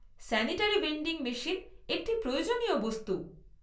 Sanitary vending machine একটি প্রয়োজনীয় বস্তু।